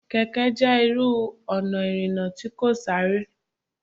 Kẹ̀kẹ́ jẹ́ irú ọ̀nà ìrìnà tí kò sáré.